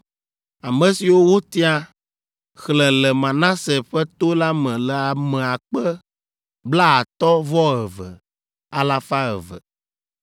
Ame siwo wotia, xlẽ le Manase ƒe to la me le ame akpe blaetɔ̃-vɔ-eve, alafa eve (32,200).